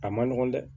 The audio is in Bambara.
A man nɔgɔn dɛ